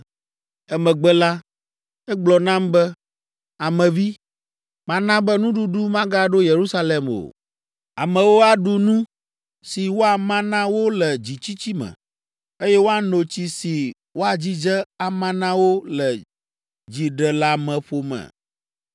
Emegbe la, egblɔ nam be, “Ame vi, mana be nuɖuɖu magaɖo Yerusalem o. Amewo aɖu nu si woama na wo le dzitsitsi me, eye woano tsi si woadzidze ama na wo le dziɖeleameƒo me,